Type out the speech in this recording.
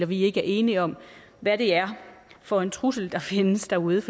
vi ikke er enige om hvad det er for en trussel der findes derude